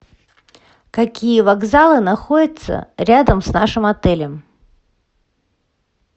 какие вокзалы находятся рядом с нашим отелем